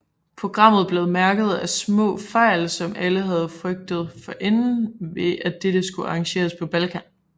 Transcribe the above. Programmet blev mærket af små fejl som alle havde frygtet forinden ved at det skulle arrangeres på Balkan